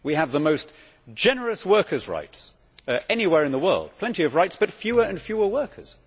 We have the most generous workers' rights anywhere in the world. We have plenty of rights but fewer and fewer workers.